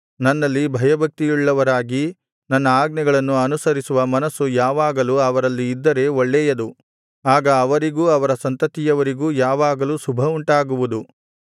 ನನ್ನಲ್ಲಿ ಭಯಭಕ್ತಿಯುಳ್ಳವರಾಗಿ ನನ್ನ ಆಜ್ಞೆಗಳನ್ನು ಅನುಸರಿಸುವ ಮನಸ್ಸು ಯಾವಾಗಲೂ ಅವರಲ್ಲಿ ಇದ್ದರೆ ಒಳ್ಳೇಯದು ಆಗ ಅವರಿಗೂ ಅವರ ಸಂತತಿಯವರಿಗೂ ಯಾವಾಗಲೂ ಶುಭವುಂಟಾಗುವುದು